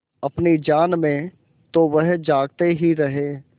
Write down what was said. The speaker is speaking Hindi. अपनी जान में तो वह जागते ही रहे